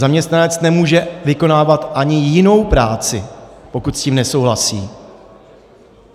Zaměstnanec nemůže vykonávat ani jinou práci, pokud s tím nesouhlasí.